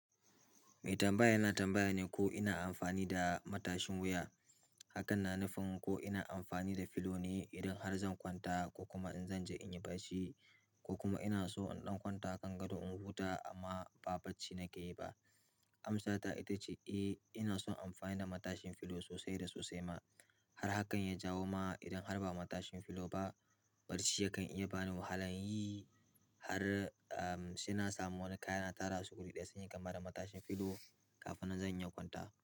Mai tambaya yana tambaya ne ko ina amfani da matashin wuya hakan na nufin ko ina amfani da pillow ne idan har zan kwanta ko kuma in zanje inyi kashi, ko kuma ina so in ɗan kwanta kan gado in huta amma ba bacci nake yi ba. Ams sata ita ce eh ina son amfani da matasin pillow sosai da sosai ma har hakan ya jawo ma idan har ma matashin pillow ba bacci ya kan iya bani wahalan yi har sai na samu wani kaya na tarasu sunyi kamar matashin pillow kafin nan zan iya kwantawa.